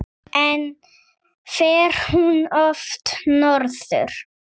En fer hún oft norður?